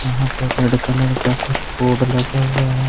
यहां पे red colour का कुछ बोर्ड लगा हुआ है।